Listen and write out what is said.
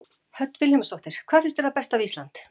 Hödd Vilhjálmsdóttir: Hvað finnst þér það besta við Ísland?